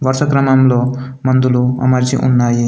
వరుస క్రమంలో మందులు అమర్చి ఉన్నాయి.